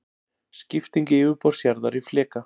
Skipting yfirborðs jarðar í fleka.